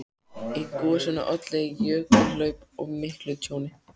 Í gosinu olli jökulhlaup og miklu tjóni.